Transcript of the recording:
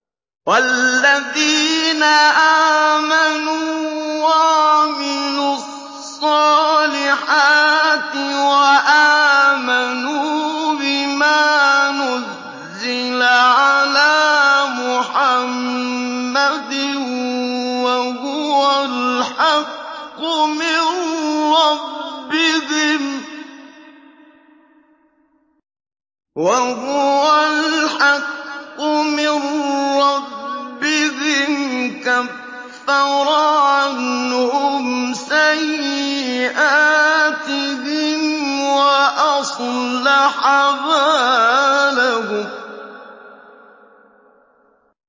وَالَّذِينَ آمَنُوا وَعَمِلُوا الصَّالِحَاتِ وَآمَنُوا بِمَا نُزِّلَ عَلَىٰ مُحَمَّدٍ وَهُوَ الْحَقُّ مِن رَّبِّهِمْ ۙ كَفَّرَ عَنْهُمْ سَيِّئَاتِهِمْ وَأَصْلَحَ بَالَهُمْ